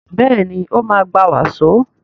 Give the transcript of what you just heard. Béèni o ma gbà waso.